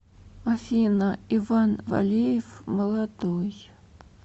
афина иван валеев молодой